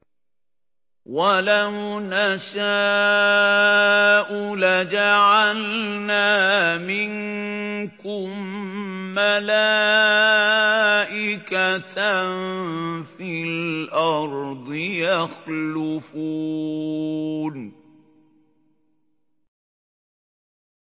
وَلَوْ نَشَاءُ لَجَعَلْنَا مِنكُم مَّلَائِكَةً فِي الْأَرْضِ يَخْلُفُونَ